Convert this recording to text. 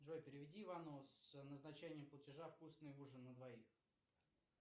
джой переведи ивану с назначением платежа вкусный ужин на двоих